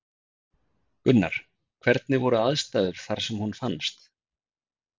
Gunnar: Hvernig voru aðstæður þar sem hún fannst?